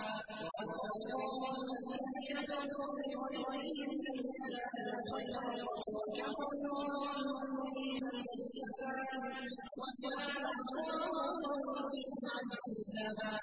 وَرَدَّ اللَّهُ الَّذِينَ كَفَرُوا بِغَيْظِهِمْ لَمْ يَنَالُوا خَيْرًا ۚ وَكَفَى اللَّهُ الْمُؤْمِنِينَ الْقِتَالَ ۚ وَكَانَ اللَّهُ قَوِيًّا عَزِيزًا